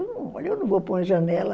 Eu não vou para uma janela.